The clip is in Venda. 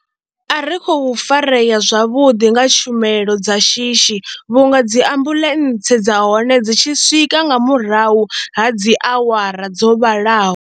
A ri khou farea zwavhuḓi nga tshumelo dza shishi vhunga dzi ambuḽentse dza hone dzi tshi swika nga murahu ha dzi awara dzo vhalaho.